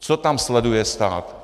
Co tam sleduje stát?